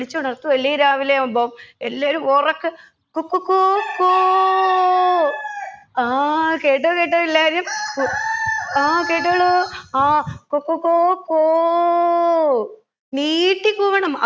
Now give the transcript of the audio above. വിളിച്ചുണർത്തും അല്ലെ രാവിലെയാവുമ്പം എല്ലാവരും ഒറക്കെ കൊ കൊ കൊ കോ ആ കേട്ടോ കേട്ടോ എല്ലാവരും ആ കേട്ടോളു ആ കൊ കൊ കൊ കോ നീട്ടി കൂവണം